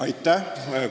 Aitäh!